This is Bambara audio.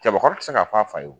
Cɛbakɔrɔ ti se k'a fɔ a fa ye o.